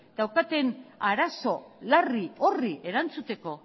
daukaten arazo larri horri erantzuteko